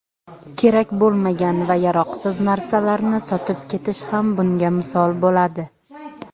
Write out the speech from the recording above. kerak bo‘lmagan va yaroqsiz narsalarni sotib ketish ham bunga misol bo‘ladi.